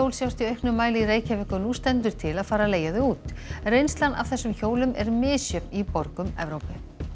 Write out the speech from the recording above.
sjást í auknum mæli í Reykjavík og nú stendur til að fara að leigja þau út reynslan af þessum hjólum er misjöfn í borgum Evrópu